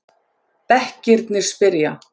Bekkirnir spyrja!